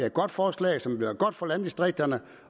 et godt forslag som vil være godt for landdistrikterne